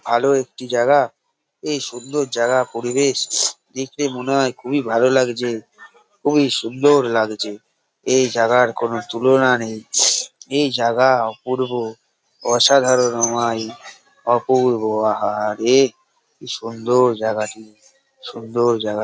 ভালো একটি জায়গা এই সুন্দর জায়গা র পরিবেশ দেখলে মনে হয় খুবই ভালো লাগছে খুবই সুন্দর লাগছে এই জায়গা র কোনো তুলনা নেই এই জায়গা অপূর্ব অসাধারণ অমাইক অপূর্ব আঃ হাহা রে কি সুন্দর জায়গাটি সুন্দর জায়গা --